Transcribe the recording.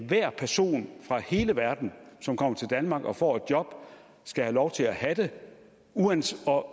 hver person fra hele verden som kommer til danmark og får et job skal have lov til at have det